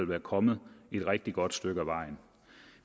være kommet et rigtig godt stykke ad vejen